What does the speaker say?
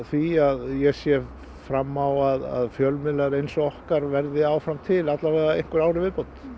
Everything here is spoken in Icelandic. því að ég sé fram á að fjölmiðlar eins og okkar verði áfram til allavega einhver ár í viðbót